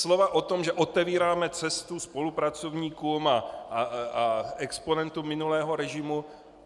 Slova o tom, že otevíráme cestu spolupracovníkům a exponentům minulého režimu.